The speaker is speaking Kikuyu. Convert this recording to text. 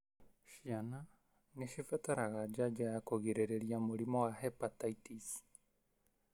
Ciana ni cibataraga janjo ya kũgirĩrĩria mũrimũ wa hepatitis.